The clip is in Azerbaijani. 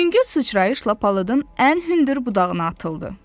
Yüngül sıçrayışla palıdın ən hündür budağına atıldı.